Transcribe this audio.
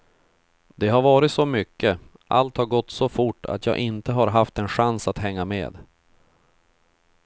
Det har varit så mycket, allt har gått så fort att jag inte har haft en chans att hänga med.